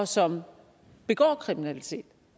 som begår kriminalitet